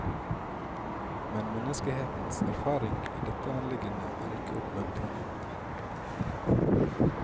Men menneskehetens erfaringer i dette anliggende er ikke oppmuntrende.